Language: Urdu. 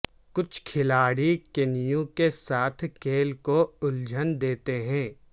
کچھ کھلاڑی کینو کے ساتھ کھیل کو الجھن دیتے ہیں